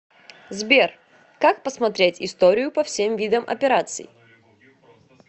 сбер как посмотреть историю по всем видам операций